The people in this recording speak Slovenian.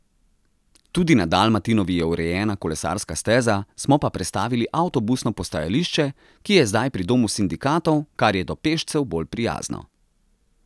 Tudi na Dalmatinovi je urejena kolesarska steza, smo pa prestavili avtobusno postajališče, ki je zdaj pri Domu sindikatov, kar je do pešcev bolj prijazno.